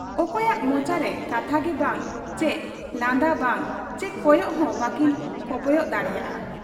ᱚᱠᱚᱭᱟᱜ ᱢᱚᱪᱟᱨᱮ ᱠᱟᱛᱷᱟᱜᱮ ᱵᱟᱝ ᱪᱤ ᱞᱟᱸᱫᱟ ᱵᱟᱝ ᱪᱤ ᱠᱚᱭᱚᱜ ᱦᱚᱸ ᱵᱟᱠᱤᱱ ᱠᱚᱯᱚᱭᱚᱜ ᱫᱟᱲᱮᱭᱟᱫ ᱟ ᱾